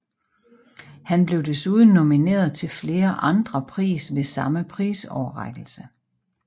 Han blev desuden nomineret til flere andre pris ved samme prisoverrækkelse